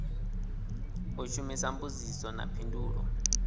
u shumisa mbudziso na phindulo